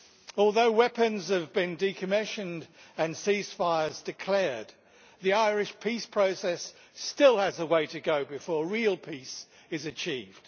Although weapons have been decommissioned and ceasefires declared, the Irish peace process still has a way to go before real peace is achieved.